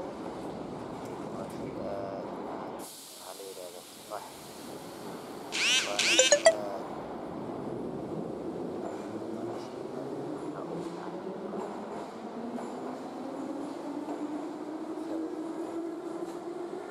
Sheygaan wa shey aad u macaan waxa la yiraahdaa tufaax.